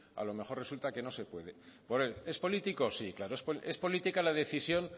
a lo mejor resulta que no puede es político sí claro es política la decisión